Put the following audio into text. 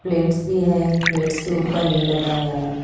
Plates भी है plates के ऊपर ये लगाया है।